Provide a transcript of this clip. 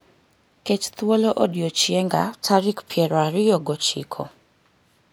ket thuolo odiechienga tarik piero ariyogo chiko